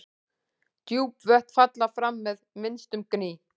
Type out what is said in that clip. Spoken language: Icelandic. Djúp vötn falla fram með minnstum gný.